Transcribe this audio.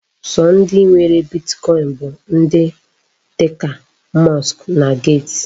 Sọ ndị nwere Bitkọin bụ ndị dị ka Musk na Gate.